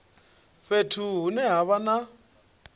fhethu hune ha vha na